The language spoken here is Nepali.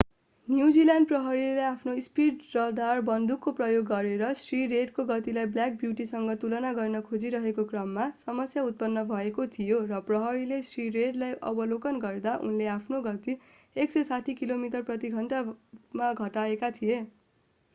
न्युजील्यान्ड प्रहरीले आफ्नो स्पीड रडार बन्दुकको प्रयोग गरेर श्री रेडको गतिलाई ब्ल्याक ब्यूटीसँग तुलना गर्न खोजिरहेको क्रममा समस्या उत्पन्न भएको थियो र प्रहरीले श्री रेडलाई अवलोकन गर्दा उनले आफ्नो गति 160 किमि प्रति घण्टामा घटाएका थिए